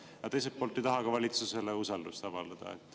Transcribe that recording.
Aga teiselt poolt ei taha ka valitsusele usaldust avaldada.